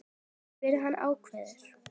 spyr hann ákafur.